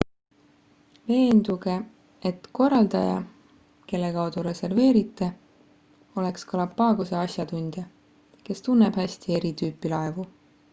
veenduge et korraldaja kelle kaudu reserveerite oleks galapagose asjatundja kes tunneb häst eri tüüpi laevu